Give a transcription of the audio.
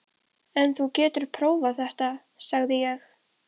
En þú getur prófað þetta, sagði ég.